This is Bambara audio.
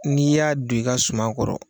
N'i y'a don i ka sumaman kɔrɔ